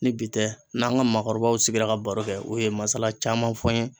Ni bi tɛ n n'an ka maakɔrɔbaw sigira ka baro kɛ u ye masala caman fɔ n ye